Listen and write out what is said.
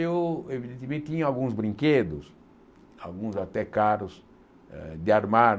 Eu, evidentemente, tinha alguns brinquedos, alguns até caros eh, de armar.